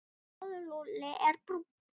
Sjáðu, Lúlli er brúnn.